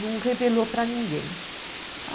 não revelou para ninguém.